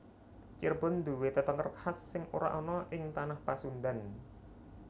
Cirebon nduwe tetenger khas sing ora ana ing tanah Pasundan